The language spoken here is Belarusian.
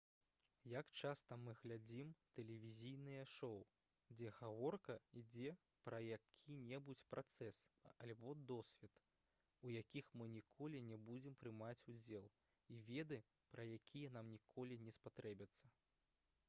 як часта мы глядзім тэлевізійныя шоу дзе гаворка ідзе пра які-небудзь працэс альбо досвед у якіх мы ніколі не будзем прымаць удзел і веды пра якія нам ніколі не спатрэбяцца